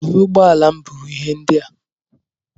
Jiri ụgbọala m buru ihe ndị a!